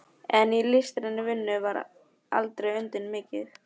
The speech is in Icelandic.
En í listrænni vinnu var aldrei undan vikið.